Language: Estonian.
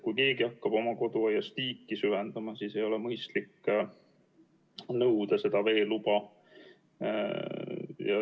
Kui keegi hakkab oma koduaias tiiki süvendama, siis ei ole mõistlik nõuda veeluba.